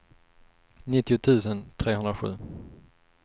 nittio tusen trehundrasju